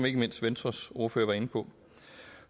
ikke mindst venstres ordfører var inde på